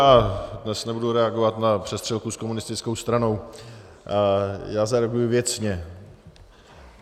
Já dnes nebudu reagovat na přestřelku s komunistickou stranou, já zareaguji věcně.